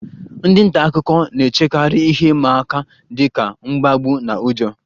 Ndị nta akụkọ na-echekarị ihe ịma aka dị ka mkpagbu na ụjọ